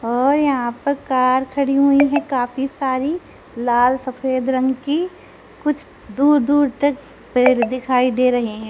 और यहां पर कार खड़ी हुई है काफी सारी लाल सफेद रंग की कुछ दूर दूर तक पेड़ दिखाई दे रहे है।